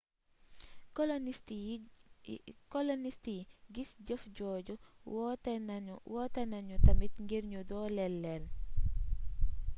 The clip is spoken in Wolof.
kolonist yi gis jëf jooju wootenanu tamit ngir nu dooleel leel